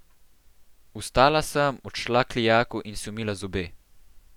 Vstala sem, odšla k lijaku in si umila zobe.